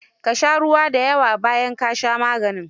Ka sha ruwa da yawa bayan ka sha maganin